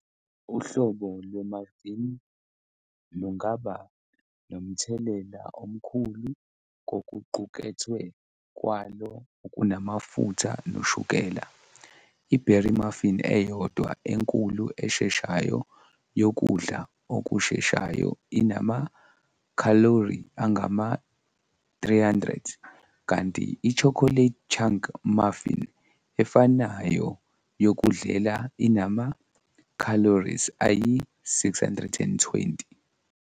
Uhlobo lwe-muffin lungaba nomthelela omkhulu kokuqukethwe kwalo okunamafutha noshukela, iberry muffin eyodwa enkulu esheshayo yokudla okusheshayo inama-khalori angama-300, kanti i-chocolate chunk muffin efanayo yokudlela inama-calories ayi-620.